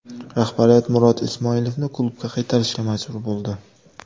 Rahbariyat Murod Ismoilovni klubga qaytarishga majbur bo‘ldi.